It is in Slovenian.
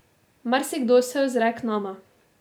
Marsikdo se ozre k nama.